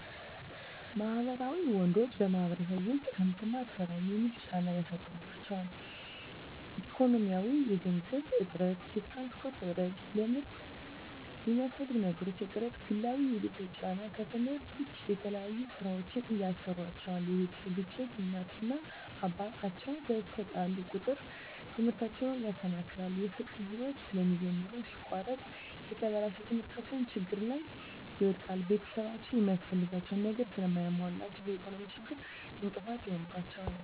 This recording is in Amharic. ማህበራዊ ወንዶች በማህበረሰቡ ዉስጥ ከምትማር ስራ የሚል ጫና ያሳድሩባቸዋል። ኢኮኖሚያዊ የገንዘብ እጥረት፣ የትራንስፖርት እጥረት፣ ለትምርት የሚያስፈልጉ ነገሮች እጥረት፣ ግላዊ የቤተሰብ ጫና ከትምህርት ዉጭ የተለያዩ ስራወችን ያሰሩአቸዋል የቤተሰብ ግጭት እናት እና አባት አቸዉ በተጣሉ ቁጥር ትምህርታቸዉን ያሰናክላል። የፍቅር ህይወት ስለሚጀምሩ ሲቆረጥ የተበላሸ ትምህርታቸዉን ችግር ላይ ይወድቃል። ቤተሰብአቸዉ የሚያስፈልጋቸዉን ነገር ስለማያሞሉላቸዉ በኢኮኖሚ ችግር እንቅፋት ይሆንባቸዋል።